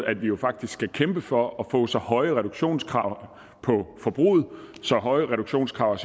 at vi jo faktisk skal kæmpe for at få så høje reduktionskrav på forbruget og så høje reduktionskrav